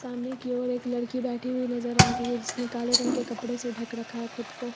सामने की ओर एक लड़की बैठी हुई नजर आ रही है जिसने काले रंग के कपड़े से ढक रखा है खुद को।